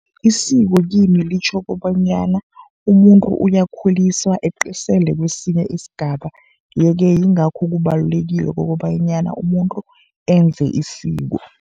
Isiko kimi litjho kobanyana umuntu uyakhuliswa, eqiselwe kesinye isigaba. Ye-ke yingakho kubalulekile kokobanyana umuntu enze isiko.